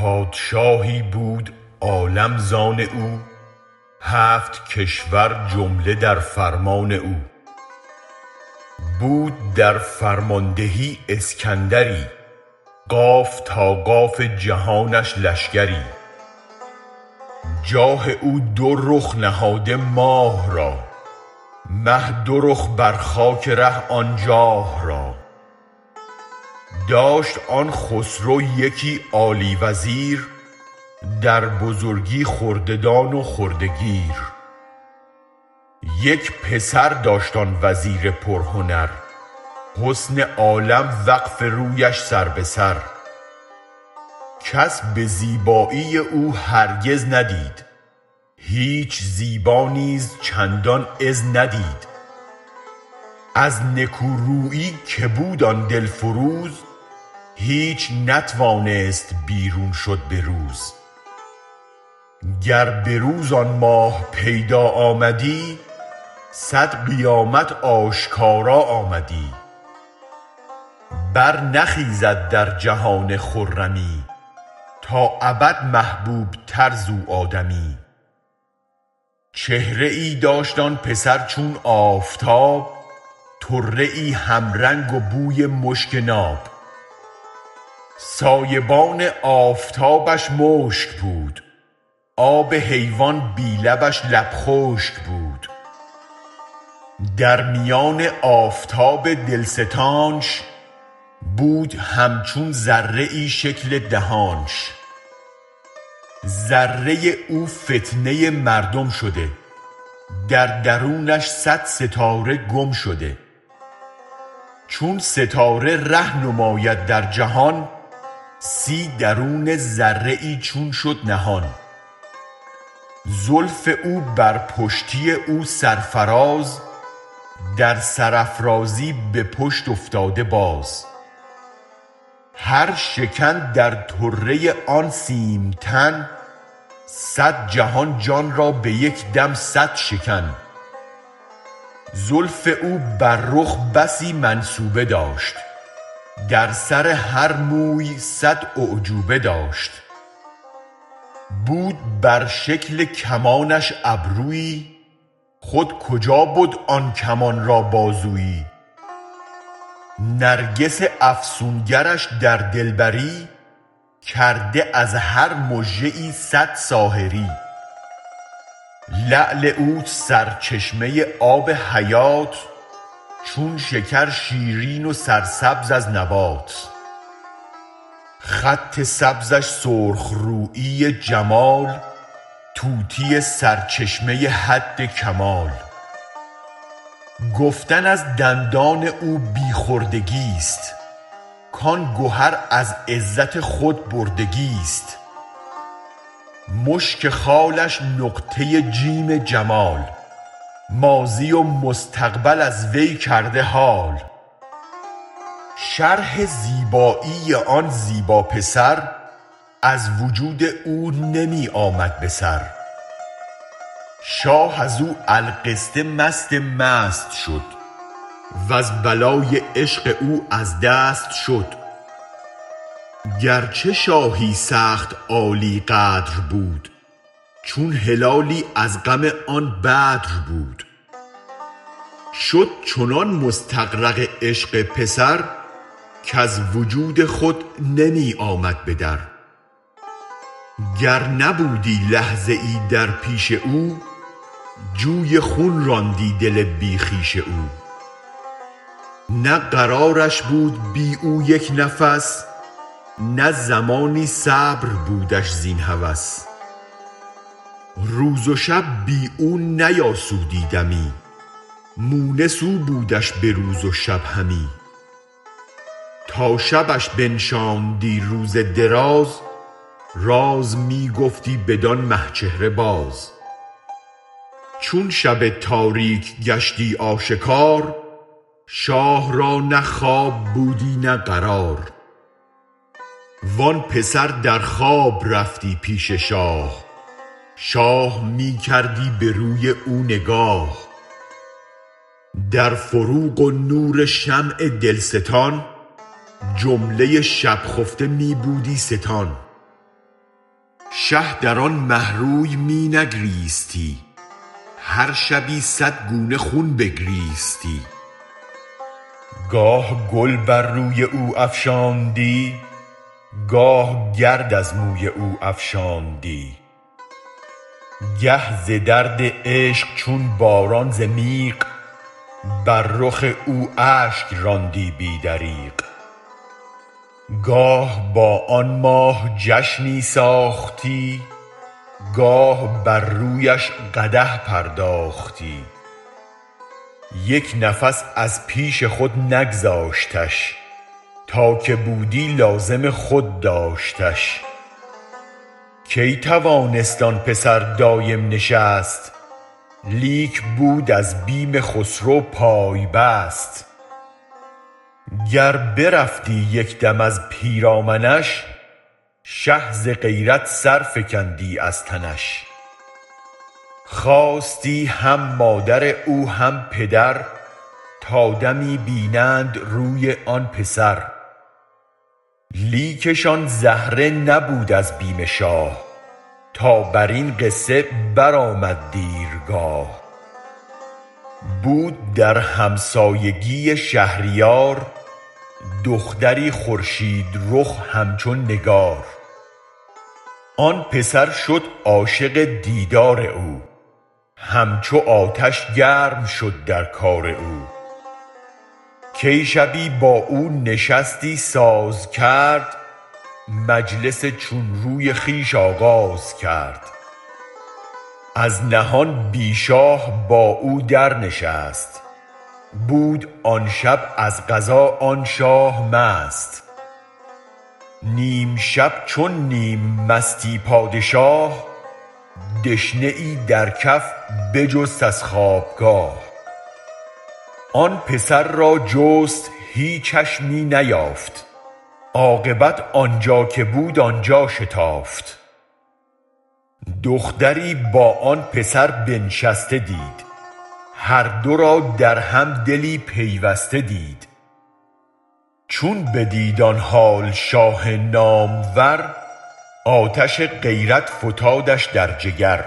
پادشاهی بود عالم زان او هفت کشور جمله در فرمان او بود در فرماندهی اسکندری قاف تا قاف جهانش لشگری جاه او دو رخ نهاده ماه را مه دو رخ بر خاک ره آن جاه را داشت آن خسرو یکی عالی وزیر در بزرگی خرده دان و خرده گیر یک پسر داشت آن وزیر پر هنر حسن عالم وقف رویش سر به سر کس به زیبایی او هرگز ندید هیچ زیبا نیز چندان عز ندید از نکو رویی که بود آن دلفروز هیچ نتوانست بیرون شد به روز گر به روز آن ماه پیدا آمدی صد قیامت آشکارا آمدی برنخیزد در جهان خرمی تا ابد محبوب تر زو آدمی چهره ای داشت آن پسر چون آفتاب طره ای هم رنگ و بوی مشک ناب سایه بان آفتابش مشک بود آب حیوان بی لبش لب خشک بود در میان آفتاب دلستانش بود هم چون ذره شکل دهانش ذره او فتنه مردم شده در درونش صد ستاره گم شده چون ستاره ره نماید در جهان سی درون ذره ای چون شد نهان زلف او بر پشتی او سرفراز در سرافرازی به پشت افتاده باز هر شکن در طره آن سیم تن صد جهان جان را به یک دم صد شکن زلف او بر رخ بسی منسوبه داشت در سر هر موی صد اعجوبه داشت بود بر شکل کمانش ابرویی خود کجا بد آن کمان را بازویی نرگس افسون گرش در دلبری کرده از هر مژه ای صد ساحری لعل او سرچشمه آب حیات چون شکر شیرین و سرسبز از نبات خط سبزش سرخ رویی جمال طوطی سرچشمه حد کمال گفتن از دندان او بی خرد گیست کان گهر از عزت خود برد گیست مشک خالش نقطه جیم جمال ماضی و مستقبل از وی کرده حال شرح زیبایی آن زیبا پسر از وجود او نمی آمد به سر شاه از و القصه مست مست شد و ز بلای عشق او از دست شد گرچه شاهی سخت عالی قدر بود چون هلالی از غم آن بدر بود شد چنان مستغرق عشق پسر کز وجود خود نمی آمد بدر گر نبودی لحظه ای در پیش او جوی خون راندی دل بی خویش او نه قرارش بود بی او یک نفس نه زمانی صبر بودش زین هوس روز و شب بی او نیاسودی دمی مونس او بودش به روز و شب همی تا شبش بنشاندی روز دراز راز می گفتی بدان مه چهره باز چون شب تاریک گشتی آشکار شاه را نه خواب بودی نه قرار وان پسر در خواب رفتی پیش شاه شاه می کردی به روی او نگاه در فروغ و نور شمع دلستان جمله شب خفته می بودی ستان شه در آن مه روی می نگریستی هر شبی صد گونه خون بگریستی گاه گل بر روی او افشاندی گاه گرد از موی او افشاندی گه ز درد عشق چون باران ز میغ بر رخ او اشک راندی بی دریغ گاه با آن ماه جشنی ساختی گاه بر رویش قدح پرداختی یک نفس از پیش خود نگذاشتش تا که بودی لازم خود داشتش کی توانست آن پسر دایم نشست لیک بود از بیم خسرو پای بست گر برفتی یک دم از پیرامنش شه ز غیرت سرفکندی از تنش خواستی هم مادر او هم پدر تا دمی بینند روی آن پسر لیکشان زهره نبود از بیم شاه تا برین قصه برآمد دیرگاه بود در همسایگی شهریار دختری خورشید رخ همچون نگار آن پسر شد عاشق دیدار او همچو آتش گرم شد در کار او کی شبی با او نشستی سازکرد مجلسی چون روی خویش آغازکرد از نهان بی شاه با او درنشست بود آن شب از قضا آن شاه مست نیم شب چون نیم مستی پادشاه دشنه ای در کف بجست از خوابگاه آن پسر را جست هیچش می نیافت عاقبت آنجا که بود آنجا شتافت دختری با آن پسر بنشسته دید هر دو را در هم دلی پیوسته دید چون بدید آن حال شاه نامور آتش غیرت فتادش در جگر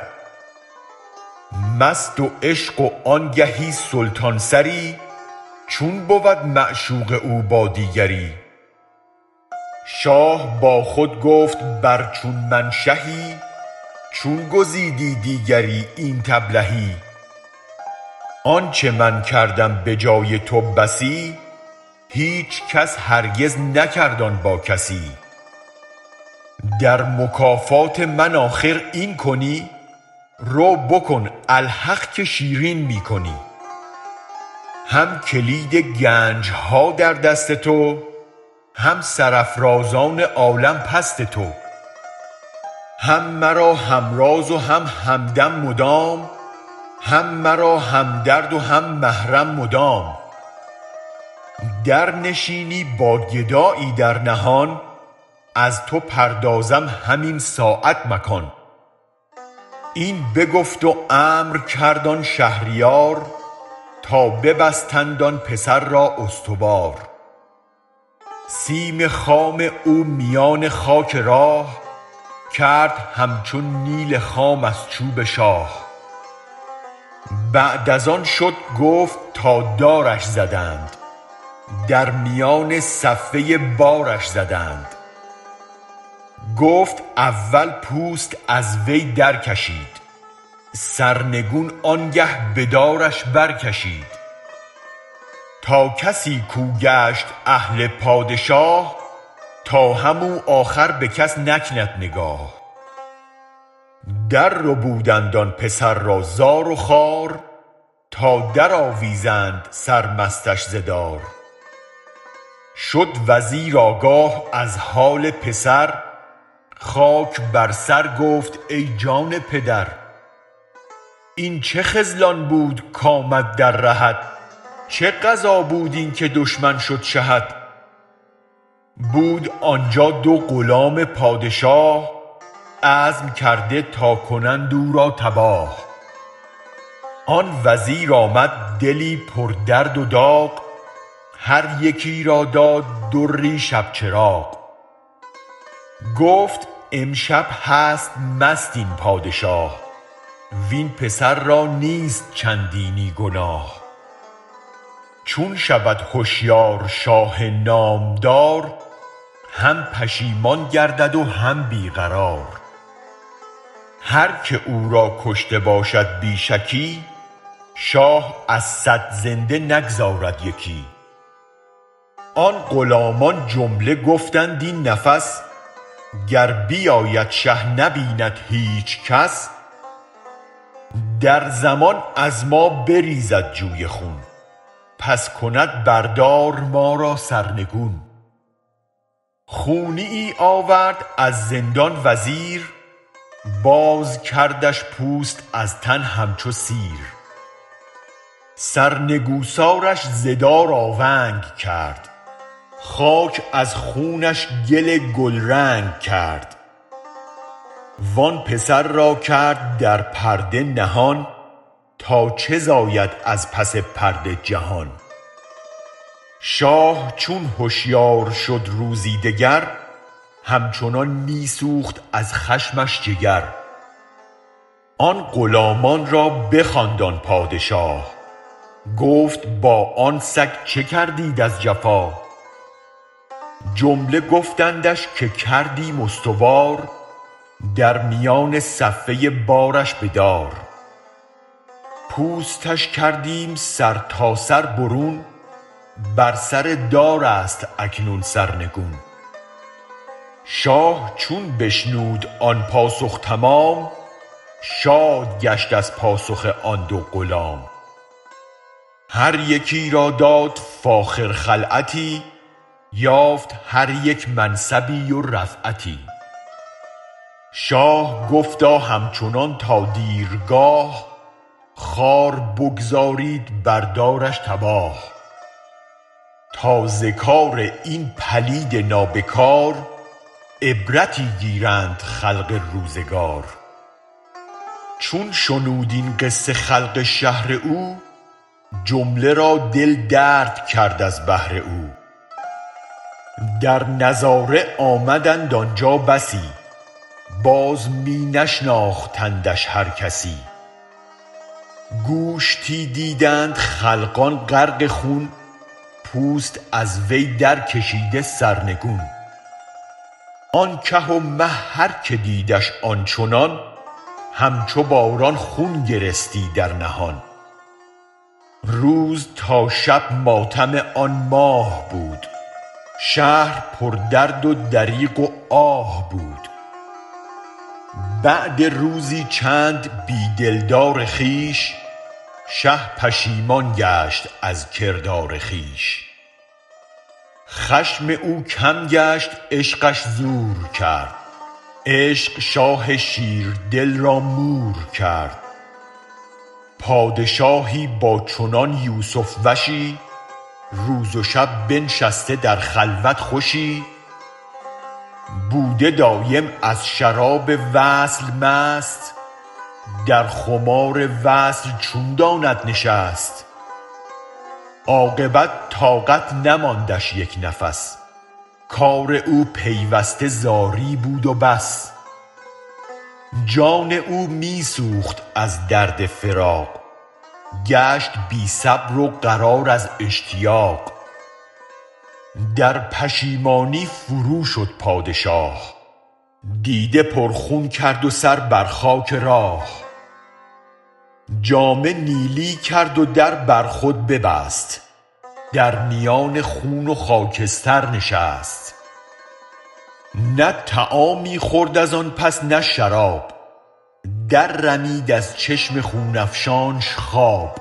مست و عشق و آنگهی سلطان سری چون بود معشوق او با دیگری شاه با خود گفت بر چون من شهی چون گزیدی دیگری اینت ابلهی آنچ من کردم بجای تو بسی هیچ کس هرگز نکرد آن با کسی در مکافات من آخر این کنی رو بکن الحق که شیرین می کنی هم کلید گنجها در دست تو هم سر افرازان عالم پست تو هم مرا هم راز و هم همدم مدام هم مرا هم درد و هم محرم مدام در نشینی با گدایی در نهان از تو پردازم همین ساعت مکان این بگفت و امر کرد آن شهریار تا ببستند آن پسر را استوار سیم خام او میان خاک راه کرد همچون نیل خام از چوب شاه بعد از آن شد گفت تا دارش زدند در میان صفه بارش زدند گفت اول پوست از وی درکشید سرنگون آنگه به دارش برکشید تا کسی کو گشت اهل پادشاه تا هم آخر او به کس نکند نگاه در ربودند آن پسر را زار و خوار تا در آویزند سر مستش ز دار شد وزیر آگاه از حال پسر خاک بر سر گفت ای جان پدر این چه خذلان بود کامد در رهت چه قضا بود این که دشمن شد شهت بود آنجا دو غلام پادشاه عزم کرده تا کنند او را تباه آن وزیر آمد دلی پر درد و داغ هر یکی را داد دری شب چراغ گفت امشب هست مست این پادشاه وین پسر را نیست چندینی گناه چون شود هشیار شاه نامدار هم پشیمان گردد وهم بی قرار هرک او را کشته باشد بی شکی شاه از صد زنده نگذارد یکی آن غلامان جمله گفتند این نفس گر بیاید شه نبیند هیچ کس درزمان از ما بریزد جوی خون پس کند بردار ما را سرنگون خونیی آورد از زندان وزیر بازکردش پوست از تن همچوسیر سرنگوسارش زدار آونگ کرد خاک از خونش گل گل رنگ کرد وآن پسر را کرد درپرده نهان تا چه زاید از پس پرده جهان شاه چون هشیار شد روزی دگر همچنان می سوخت از خشمش جگر آن غلامانرا بخواند آن پادشا گفت با آن سگ چه کردید از جفا جمله گفتندش که کردیم استوار درمیان صفه بارش بدار پوستش کردیم سرتاسر برون بر سردارست اکنون سرنگون شاه چون بشنود آن پاسخ تمام شاد گشت از پاسخ آن دو غلام هر یکی را داد فاخر خلعتی یافت هریک منصبی ورفعتی شاه گفتا همچنان تا دیرگاه خوار بگذارید بردارش تباه تا زکار این پلید نابکار عبرتی گیرند خلق روزگار چون شنود این قصه خلق شهر او جمله را دل درد کرد از بهر او درنظاره آمدند آنجا بسی باز می نشناختندش هر کسی گوشتی دیدند خلقان غرق خون پوست از وی درکشیده سرنگون آن که و مه هرک دیدش آن چنان همچو باران خون گرستی در نهان روز تا شب ماتم آن ماه بود شهر پردرد و دریغ و آه بود بعد روزی چند بی دلدار خویش شه پشیمان گشت از کردار خویش خشم او کم گشت عشقش زور کرد عشق شاه شیردل را مور کرد پادشاهی با چنان یوسف وشی روز و شب بنشسته در خلوت خوشی بوده دایم از شراب وصل مست در خمار وصل چون داند نشست عاقبت طاقت نماندش یک نفس کار او پیوسته زاری بود و بس جان او می سوخت از درد فراق گشت بی صبر و قرار از اشتیاق در پشیمانی فروشد پادشاه دیده پر خون کرد و سر بر خاک راه جامه نیلی کرد و در برخود ببست در میان خون و خاکستر نشست نه طعامی خورد از آن پس نه شراب در رمید از چشم خون افشانش خواب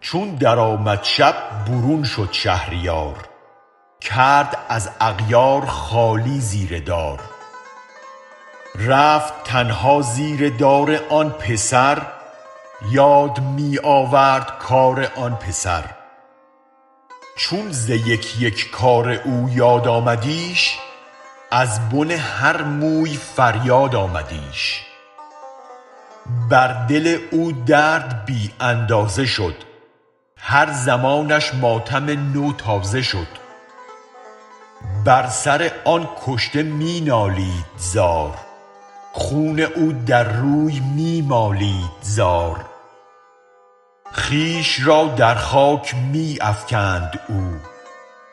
چون در آمد شب برون شد شهریار کرد از اغیار خالی زیر دار رفت تنها زیر دار آن پسر یاد می آورد کار آن پسر چون ز یک یک کار او یاد آمدیش ازبن هر موی فریاد آمدیش بر دل او درد بی اندازه شد هر زمانش ماتم نو تازه شد بر سر آن کشته می نالید زار خون او در روی می مالید زار خویش را در خاک می افکند او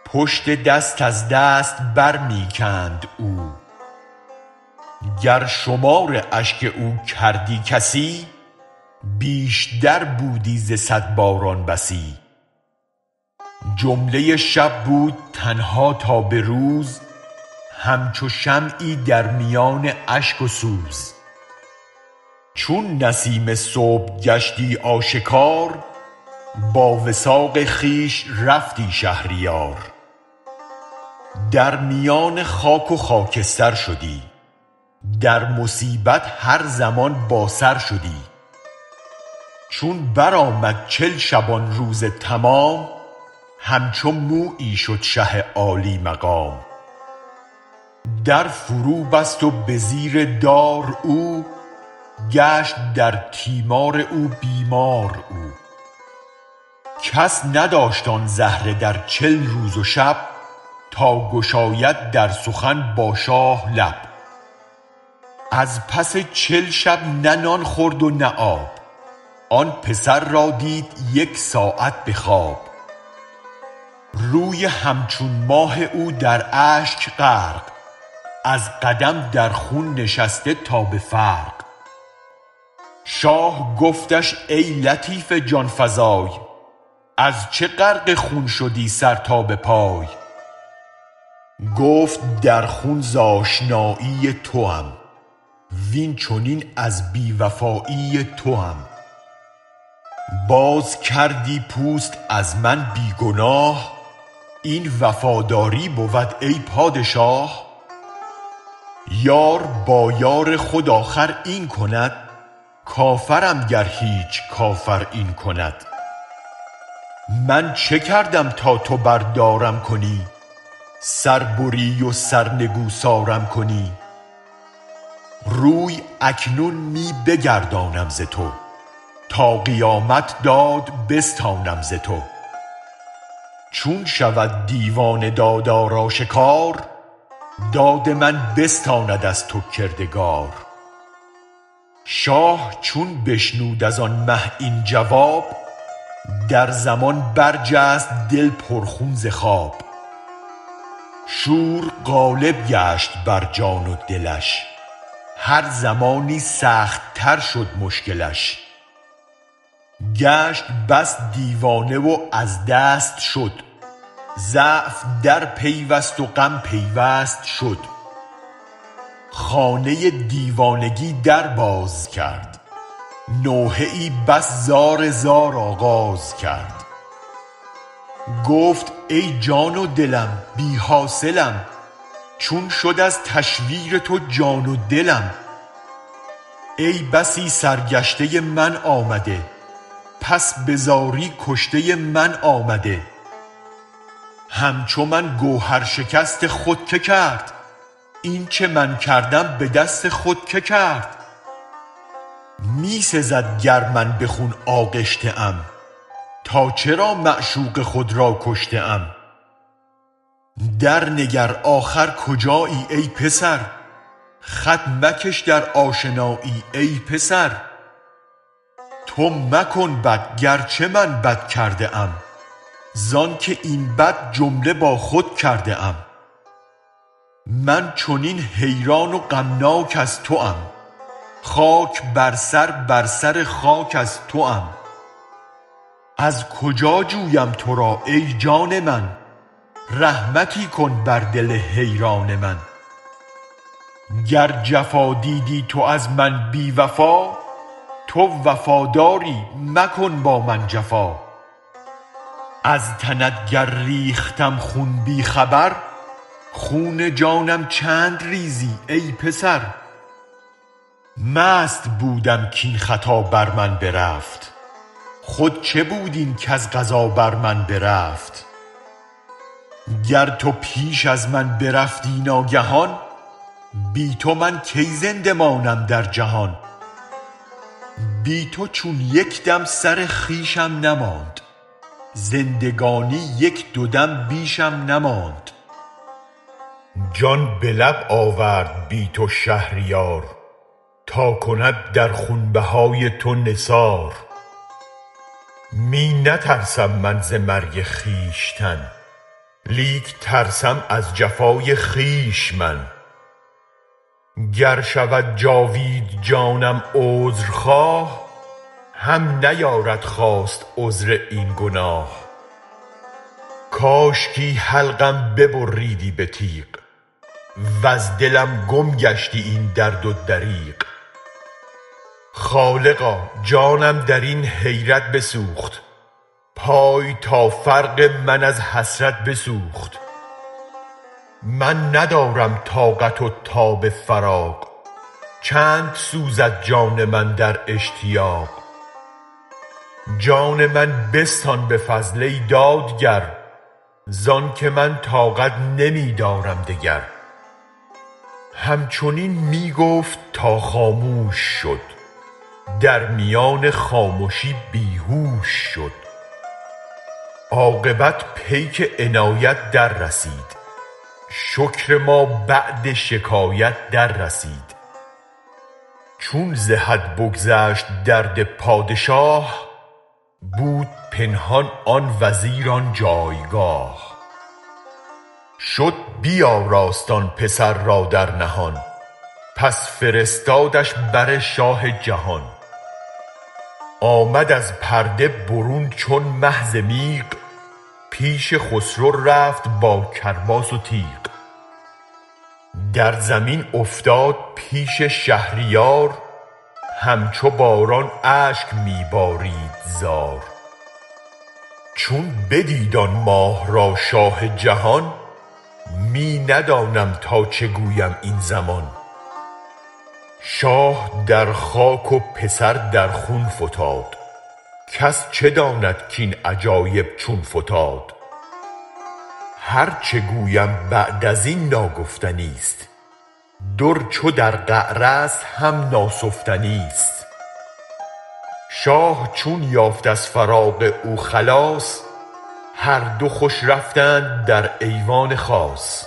پشت دست از دست برمی کند او گر شمار اشک او کردی کسی بیشتر بودی زصد باران بسی جمله شب بود تنها تا بروز همچو شمعی در میان اشک و سوز چون نسیم صبح گشتی آشکار با وثاق خویش رفتی شهریار درمیان خاک وخاکستر شدی درمصیبت هر زمان با سرشدی چون برآمد چل شبان روزتمام همچو مویی شد شه عالی مقام در فرو بست وبزیر دار او گشت درتیمار او بیمار او کس نداشت آن زهره درچل روزوشب تا گشاید درسخن با شاه لب از پس چل شب نه نان خورد و نه آب آن پسر را دید یک ساعت بخواب روی همچون ماه اودراشک غرق ازقدم در خون نشسته تا بفرق شاه گفتش ای لطیف جان فزای ازچه غرق خون شدی سرتابپای گفت در خون ز آشنایی توم وین چنین از بی وفایی توم بازکردی پوست از من بی گناه این وفاداری بود ای پادشاه یار با یارخود آخر این کند کافرم گر هیچ کافر این کند من چه کردم تا تو بردارم کنی سربری وسرنگوسارم کنی روی اکنون می بگردانم ز تو تا قیامت داد بستانم ز تو چون شود دیوان دادارآشکار داد من بستاند از تو کردگار شاه چون بشنود از آن مه این جواب درزمان درجست دل پر خون زخواب شور غالب گشت برجان ودلش هرزمانی سخت تر شدمشکلش گشت بس دیوانه وازدست شد ضعف درپیوست وغم پیوست شد خانه دیوانگی دربازکرد نوحه بس زار زار آغاز کرد گفت ای جان ودلم بی حاصلم چون شود از تشویر تو جان ودلم ای بسی سر گشته من آمده پس بزاری کشته من آمده همچو من گوهر شکست خود که کرد اینچ من کردم بدست خود که کرد می سزد گر من به خون آغشته ام تا چرا معشوق خود را کشته ام درنگر آخر کجایی ای پسر خط مکش در آشنایی ای پسر تو مکن بد گرچه من بد کرده ام زانک این بد جمله با خود کرده ام من چنین حیران و غمناک از توم خاک بر سر بر سر خاک از توام از کجا جویم ترا ای جان من رحمتی کن بر دل حیران من گر جفا دیدی تو از من بی وفا تو وفاداری مکن با من جفا از تنت گر ریختم خون بی خبر خون جانم چند ریزی ای پسر مست بودم کین خطا بر من برفت خود چه بود این کز قضا بر من برفت گر تو پیش از من برفتی ناگهان بی تو من کی زنده مانم در جهان بی تو چون یکدم سر خویشم نماند زندگانی یک دو دم بیشم نماند جان به لب آورد بی تو شهریار تا کند در خون بهای تو نثار می نترسم من ز مرگ خویشتن لیک ترسم از جفای خویش من گر شود جاوید جانم عذر خواه هم نیارد خواست عذر این گناه کاشکی حلقم ببریدی به تیغ وز دلم گم گشتی این درد و دریغ خالقا جانم درین حیرت بسوخت پای تا فرق من از حسرت بسوخت من ندارم طاقت و تاب فراق چند سوزد جان من در اشتیاق جان من بستان به فضل ای دادگر زانک من طاقت نمی دارم دگر همچنین می گفت تا خاموش شد در میان خامشی بیهوش شد عاقبت پیک عنایت در رسید شکر ما بعد شکایت در رسید چون ز حد بگذشت درد پادشاه بود پنهان آن وزیر آن جایگاه شد بیاراست آن پسر را در نهان پس فرستادش بر شاه جهان آمد از پرده برون چون مه ز میغ پیش خسرو رفت با کرباس و تیغ در زمین افتاد پیش شهریار همچو باران اشک می بارید زار چون بدید آن ماه را شاه جهان می ندانم تا چه گویم این زمان شاه در خاک و پسر در خون فتاد کس چه داند کین عجایب چون فتاد هرچ گویم بعد ازین ناگفتنیست در چو در قعرست هم ناسفتنیست شاه چون یافت از فراق او خلاص هر دو خوش رفتند در ایوان خاص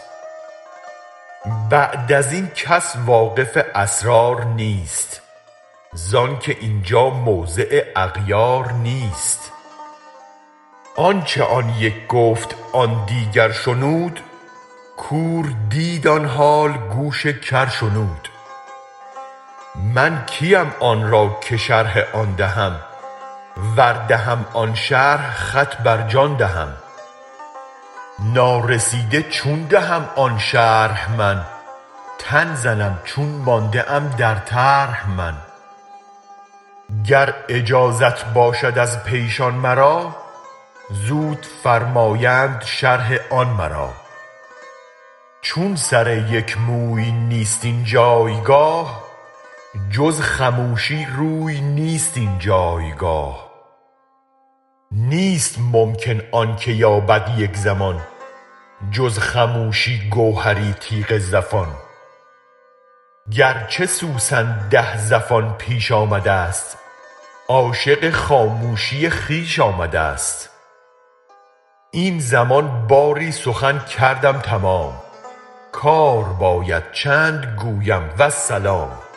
بعد ازین کس واقف اسرار نیست زانک اینجا موضع اغیار نیست آنچ آن یک گفت آن دیگر شنود کور دید آن حال گوش کر شنود من کیم آنرا که شرح آن دهم ور دهم آن شرح خط برجان دهم نارسیده چون دهم آن شرح من تن زنم چون مانده ام در طرح من گر اجازت باشد از پیشان مرا زود فرمایند شرح آن مرا چون سر یک موی نیست این جایگاه جز خموشی روی نیست این جایگاه نیست ممکن آنک یابد یک زمان جز خموشی گوهری تیغ زفان گرچه سوسن ده زفان بیش آمدست عاشق خاموشی خویش آمدست این زمان باری سخن کردم تمام کار باید چند گویم والسلام